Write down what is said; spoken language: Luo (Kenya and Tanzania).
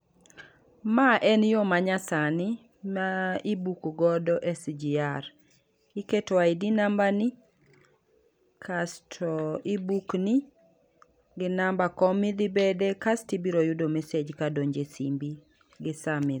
Ma en yoo manyasani ma i book godo SGR. Iketo ID namba ni kasto i book ni ginamba kom midhi bede, kas to ibiro yudo message kadonjo e simbi gi sami.